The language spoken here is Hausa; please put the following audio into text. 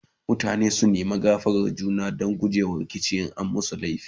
mutane su nema gafaran juna Dan gujema rikici in an ma juna laifi